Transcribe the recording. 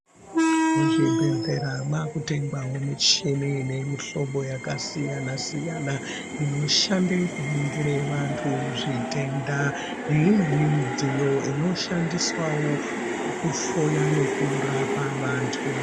Muzvibhedhlera makutengwawo michini ine mihlobo yakasiyana-siyana inoshande kuningire vantu zvitenda neimweni midziyo inoshandiswawo pakuhloya nekurapa vantu.